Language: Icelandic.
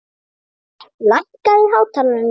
Garðar, lækkaðu í hátalaranum.